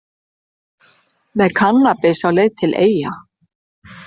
Með kannabis á leið til Eyja